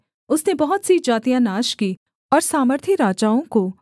उसने बहुत सी जातियाँ नाश की और सामर्थी राजाओं को